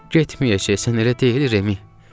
Getməyəcəksən, elə deyil, Remi?